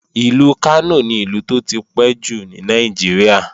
Ìlú Kánò ni Ìlú tó tipẹ́ jù ní Nàìjíríà